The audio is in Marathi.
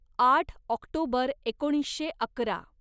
आठ ऑक्टोबर एकोणीसशे अकरा